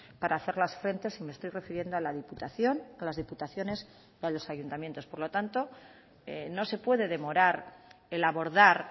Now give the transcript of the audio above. para hacerlas frente y me estoy refiriendo a la diputación a las diputaciones y a los ayuntamientos por lo tanto no se puede demorar el abordar